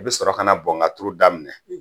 I bɛ sɔrɔ ka na bɔnkaturu daminɛ